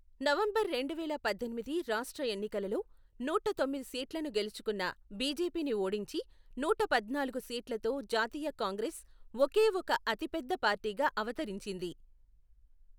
November రెండువేల పద్దెనిమిది రాష్ట్ర ఎన్నికలలో, నూట తొమ్మిది సీట్లను గెలుచుకున్న బీజేపీని ఓడించి నూట పద్నాలుగు సీట్లతో జాతీయ కాంగ్రెస్ ఒకే ఒక అతిపెద్ద పార్టీగా అవతరించింది.